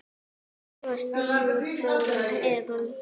Svo skítug er hún ekki.